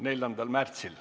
4. märtsil.